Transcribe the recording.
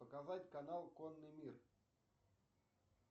показать канал конный мир